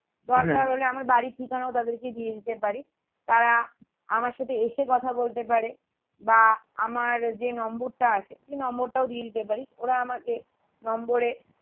হলে আমার বাড়ির ঠিকানাও তাদেরকে দিয়ে দিতে পারিস তারা আমার সাথে এসে কথা বলতে পারে বা আমার যে নম্বরটা আছে সেই নম্বরটাও দিয়ে দিতে পারিস ওরা আমাকে নম্বরে